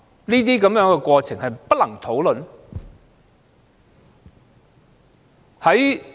這種過程是否不能討論的呢？